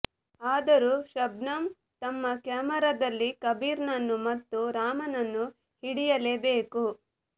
ಆದರೂ ಶಬನಂ ತಮ್ಮ ಕ್ಯಾಮೆರಾದಲ್ಲಿ ಕಬೀರನನ್ನು ಮತ್ತು ರಾಮನನ್ನು ಹಿಡಿಯಲೇ ಬೇಕು